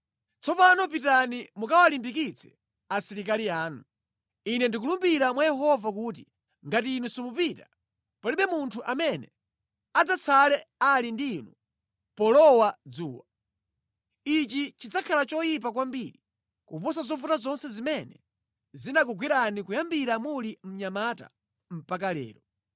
Tsopano pitani mukawalimbikitse asilikali anu. Ine ndikulumbira mwa Yehova kuti ngati inu simupita palibe munthu amene adzatsale ali ndi inu polowa dzuwa. Ichi chidzakhala choyipa kwambiri kuposa zovuta zonse zimene zinakugwerani kuyambira muli mnyamata mpaka lero.”